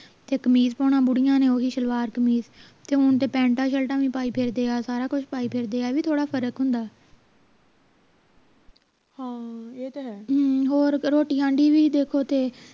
ਤੇ ਕਮੀਜ ਪਾਉਣਾ ਬੁੜੀਆਂ ਨੇ ਓਹੀ ਸਲਵਾਰ ਕਮੀਜ ਤੇ ਹੁਣ ਤਾਂ ਪੇਂਟਾ ਸ਼ਿਰਟਾਂ ਵੀ ਪਾਈ ਫਿਰਦੇ ਆ ਸਾਰਾ ਕੁਛ ਪਾਈ ਫਿਰਦੇ ਆ ਵੀ ਥੋੜਾ ਫਰਕ ਹੁੰਦਾ ਹਮ ਹੋਰ ਰੋਟੀ ਹੋਈ ਦੇਖੋ ਤੇ